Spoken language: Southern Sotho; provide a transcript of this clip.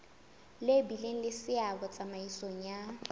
bileng le seabo tsamaisong ya